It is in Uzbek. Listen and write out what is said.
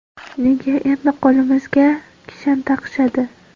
Nega endi qo‘limizga kishan taqishadi?